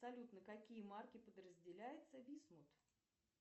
салют на какие марки подразделяется висмут